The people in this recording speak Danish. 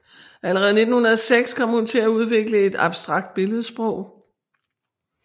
Allerede 1906 kom hun til at udvikle et abstrakt billedsprog